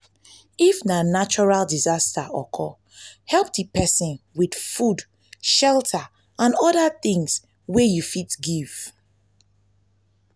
if na natural disaster occur help di persin with food shelter and oda things wey you fit give